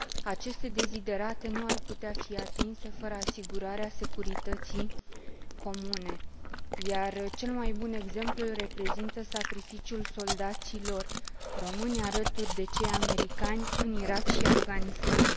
Aceste deziderate nu ar putea fi atinse fără asigurarea securității comune, iar cel mai bun exemplu îl reprezintă sacrificiul soldaților români, alături de cei americani, în Irak și Afganistan.